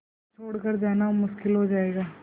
फिर छोड़ कर जाना मुश्किल हो जाएगा